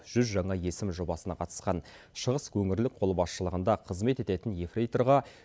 жүз жаңа есім жобасына қатысқан шығыс өңірлік қолбасшылығында қызмет ететін ефрейторға